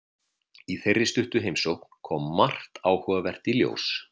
Í þeirri stuttu heimsókn kom margt áhugavert í ljós.